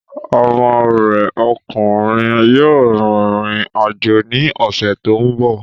Ọmọ rẹ ọkùnrin yóò rìn rìn àjò ní ọ̀sẹ̀ tó ń bọ̀